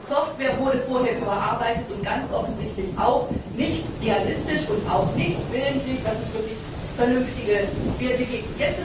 Die Software wurde vorher überarbeitet und ganz offensichtlich auch nicht realistisch und auch nicht willentlich so, dass es wirklich vernünftige Werte gibt.